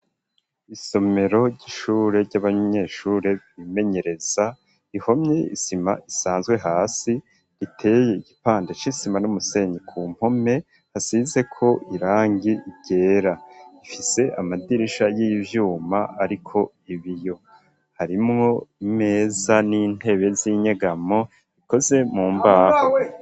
Isomero ry'ishure ry'abanyeshure bimenyereza ihomye isima isanzwe hasi riteye igipande c'isima n'umusenyi ,ku mpome hasizeko irangi ryera ifise amadirisha y'ivyuma ariko ibiyo harimwo imeza n'intebe z'inyegamo ikoze mu mbaho.